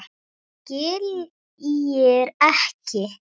Skiljir ekki.